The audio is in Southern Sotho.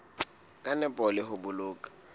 ka nepo le ho boloka